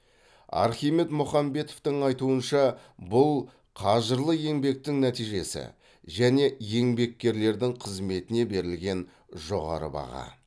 архимед мұхамбетовтің айтуынша бұл қажырлы еңбектің нәтижесі және еңбеккерлердің қызметіне берілген жоғары баға